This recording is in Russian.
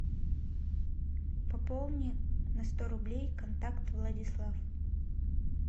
пополни на сто рублей контакт владислав